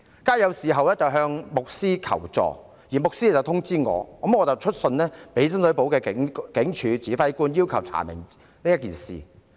街友事後向牧師求助，其後牧師通知我，我再致函深水埗警署指揮官，要求查明事件。